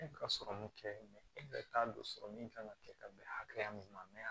E ka sɔrɔ mun kɛ e yɛrɛ t'a dɔn sɔrɔ min kan ka kɛ ka bɛn hakɛya min ma